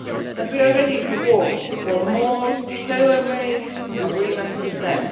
and we are ready to work for more tailor made arrangements with them.